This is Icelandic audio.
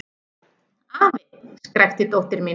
Afi! skrækti dóttir mín.